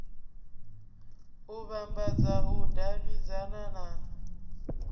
u vhambadza u davhidzana na